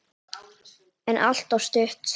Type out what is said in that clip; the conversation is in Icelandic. En alltof stutt.